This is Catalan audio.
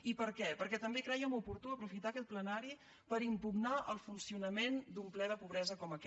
i per què perquè també crèiem oportú aprofitar aquest plenari per impugnar el funcionament d’un ple de pobresa com aquest